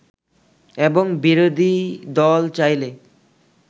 এবং বিরোধীদল চাইলে